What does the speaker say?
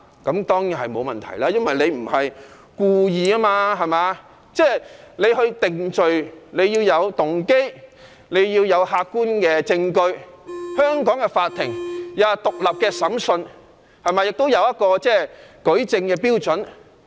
這當然沒問題，因為該人不是故意的，定罪要視乎動機和客觀證據，香港法庭有獨立審訊，亦有舉證標準。